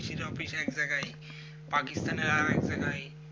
visa office এক জায়গায় পাকিস্তানের আর এক জায়গায়